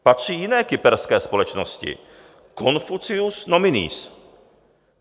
Patří jiné kyperské společnosti Confucius Nominees.